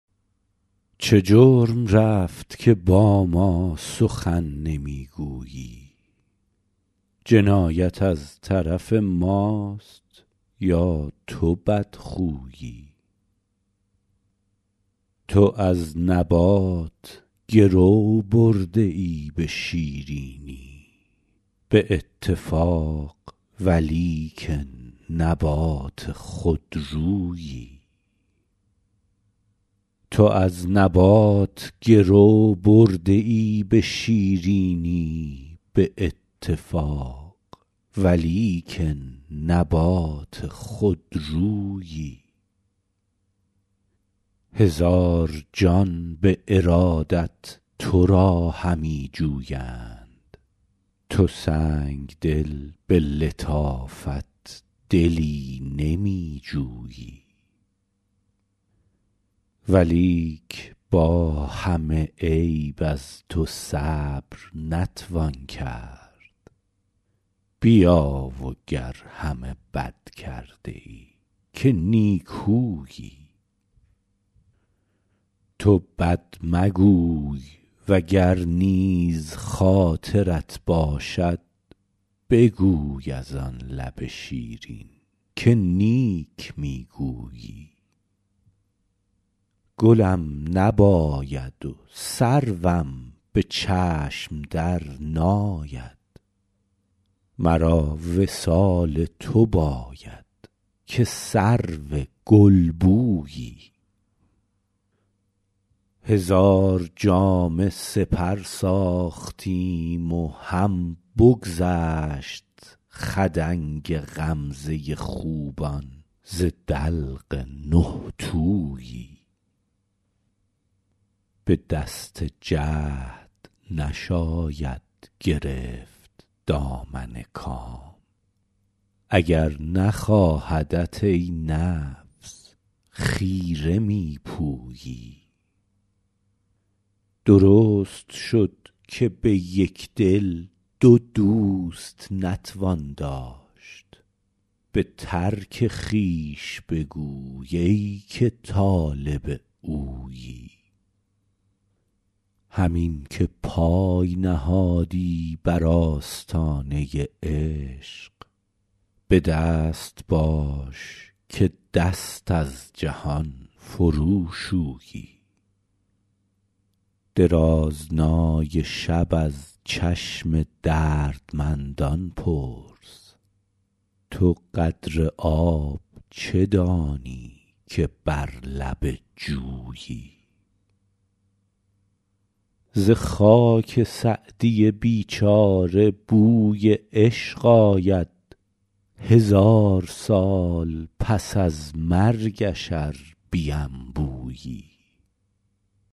چه جرم رفت که با ما سخن نمی گویی جنایت از طرف ماست یا تو بدخویی تو از نبات گرو برده ای به شیرینی به اتفاق ولیکن نبات خودرویی هزار جان به ارادت تو را همی جویند تو سنگدل به لطافت دلی نمی جویی ولیک با همه عیب از تو صبر نتوان کرد بیا و گر همه بد کرده ای که نیکویی تو بد مگوی و گر نیز خاطرت باشد بگوی از آن لب شیرین که نیک می گویی گلم نباید و سروم به چشم درناید مرا وصال تو باید که سرو گلبویی هزار جامه سپر ساختیم و هم بگذشت خدنگ غمزه خوبان ز دلق نه تویی به دست جهد نشاید گرفت دامن کام اگر نخواهدت ای نفس خیره می پویی درست شد که به یک دل دو دوست نتوان داشت به ترک خویش بگوی ای که طالب اویی همین که پای نهادی بر آستانه عشق به دست باش که دست از جهان فروشویی درازنای شب از چشم دردمندان پرس تو قدر آب چه دانی که بر لب جویی ز خاک سعدی بیچاره بوی عشق آید هزار سال پس از مرگش ار بینبویی